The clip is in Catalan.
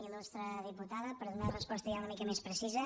il·lustre diputada per donar resposta ja una mica més precisa